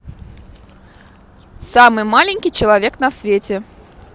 самый маленький человек на свете